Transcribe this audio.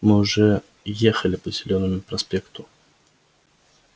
мы уже ехали по зелёному проспекту